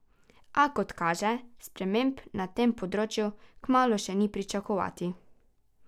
A, kot kaže, sprememb na tem področju kmalu še ni pričakovati.